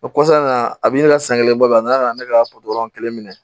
O kɔfɛ a nana a bi ne ka san kelen bɔ a nana ka na ne ka kelen minɛ